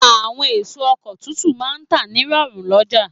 Àwọn èso oko tuntun máà ń tà ní rọ̀rùn lọ́jà